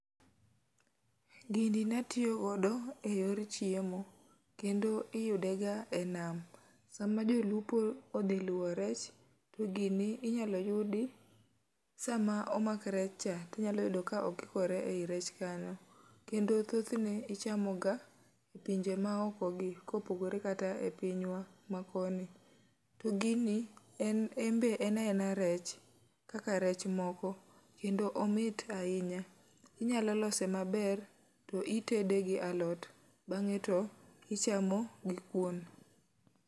Gini natiyo godo e yor chiemo, kendo iyude ga e nam. Sama jo lupo odhi luwo rech, to gini inyalo yudi sama omak rech cha, inyalo yudo ka okikore ei rech kanyo. Kendo thoth ne ichamo ga e pinje ma oko gi, kopogore kata e pinywa ma koni. To gini en embe en aena rech kaka rech ma moko. Kendo omit ahinya, inyalo lose maber to itede gi alot, bang'e to ichame gi kuon.